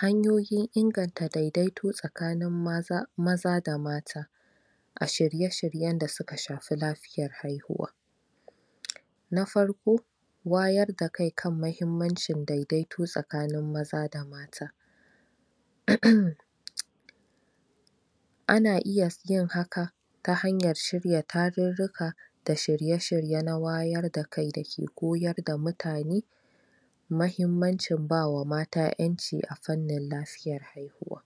Hanyoyin inganta daidaito tsakanin maza da mata, a shirye-shiryen da suka shafi lafiyar haihuwa. Na farko, Wayar da kai kan muhimmancin daidaito tsakanin maza da mata. um Ana iya yin haka ta hanyar shirya tarurruka da shirye-shirye na wayar da kai da ke koyar da mutane. mahimmancin ba wa mata ƴanci a fannin lafiyar haihuwa.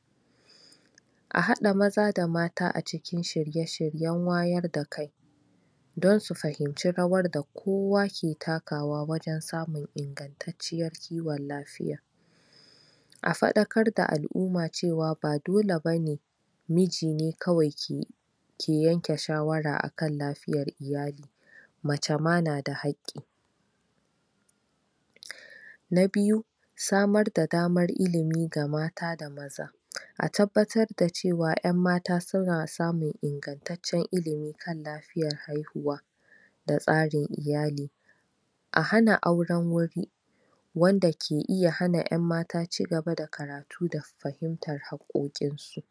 A haɗa maza da mata a cikin shirye-shiryen wayar da kai. Don su fahimci rawar da kowa ke takawa, wajen samun ingantacciyar kiwon lafiya. A faɗakar da al'umma cewa ba dole be ne, miji ne kawai ke yanke shawara a kan lafiyar iyali. mace ma na da haƙƙi. Na biyu. Samar da damar ilimi ga mata da maza. A tabbatar da cewa ƴan mata suna samun ingattacen ilimi, kan lafiyar haihuwa da tsarin iyali. A hana auren wuri, Wanda ke iya hana ƴan mata ci gaba da karatu da fahimtar haƙƙoƙinsu.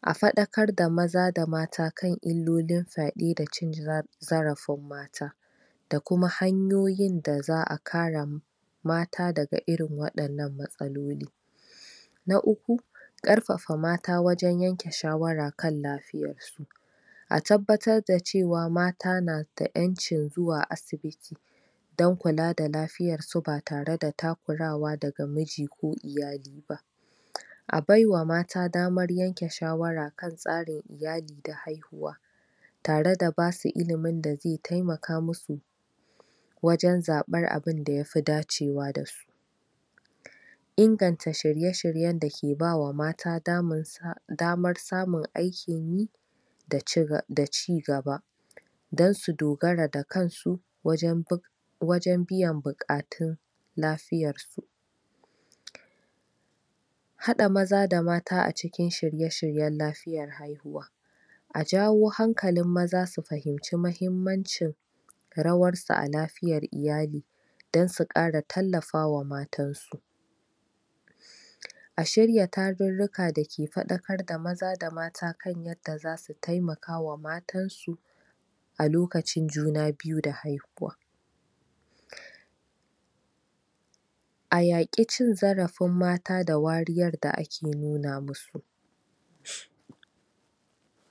A faɗakar da maza da mata kan illolin fyaɗe da cin zarafin mata. da kuma hanyoyin da za a kare mata daga irin waɗannan matsaloli. Na uku. Ƙarfafa mata wajen yanke shawara kan lafiyarsu. A tabbatar da cewa mata na da ƴancin zuwa asibiti. Don kula da lafiyarsu ba tare da takurawa daga miji ko iyali ba. A bai wa mata damar yanke shawara kan tsarin iyali da haihuwa. Tare da ba su ilimin da zai taimaka musu wajen zaɓar abin da yafi dacewa da su. Inganta shirye-shiryen da ke ba wa mata damar samun aikin yi da ci gaba. Don su dogara da kansu wajen biyan buƙatun lafiyarsu. Haɗa maza da mata a cikin shirye-shiryen lafiyar haihuwa. A jawo hankalin maza su fahimci mahimmancin rawarsu a lafiyar iyali. don su ƙara tallafawa matansu. A shiirya tarurruka da ke faɗakar da maza da mata kan yadda za su taimaka wa matansu a lokacin juna biyu da haihuwa. A yaƙi cin zarafin mata da wariyar da ake nuna musu.